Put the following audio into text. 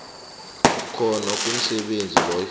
khona komsebenzi loyo